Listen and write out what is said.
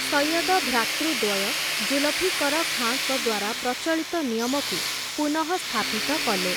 ସୈୟଦ ଭ୍ରାତୃଦ୍ୱୟ ଜୁଲଫିକର ଖାଁଙ୍କ ଦ୍ୱାରା ପ୍ରଚଳିତ ନିୟମକୁ ପୁନଃସ୍ଥାପିତ କଲେ ।